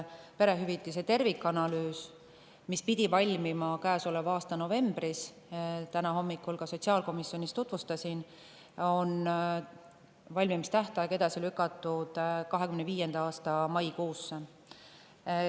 Perehüvitiste tervikanalüüs pidi valmima käesoleva aasta novembris – täna hommikul sotsiaalkomisjonis tutvustasin seda –, aga selle valmimise tähtaeg on edasi lükatud 2025. aasta maikuusse.